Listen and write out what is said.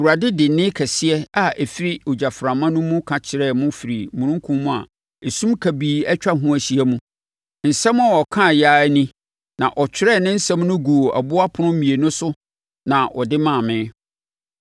Awurade de nne kɛseɛ a ɛfiri ogyaframa no mu ka kyerɛɛ mo firii omununkum a esum kabii atwa ho ahyia mu. Nsɛm a ɔkaeɛ ara ni na ɔtwerɛɛ ne nsɛm no guu aboɔ ɛpono mmienu so na ɔde maa me.